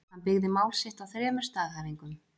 Hann byggði mál sitt á þremur staðhæfingum.